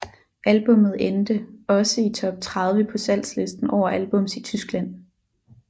Albummet endte også i top 30 på salgslisten over albums i Tyskland